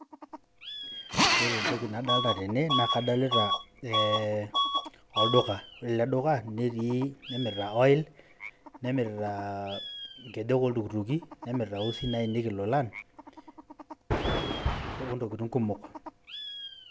Ore entoki nadolita tene, naa kadolita olduka ore ele duka nemirita olil, nemirita nkejek oltukutuki, nemirita iusin naaenieki ilolan oo ntokitin kumok.